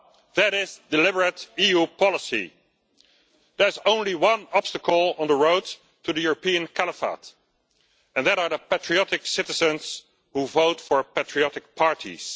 That is deliberate EU policy. There is only one obstacle on the road to the European caliphate, and that is the patriotic citizens who vote for patriotic parties.